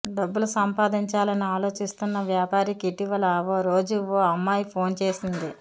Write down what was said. డబ్బులు సంపాధించాలని ఆలోచిస్తున్న వ్యాపారికి ఇటీవల ఓ రోజు ఓ అమ్మాయి ఫోన్ చేసింది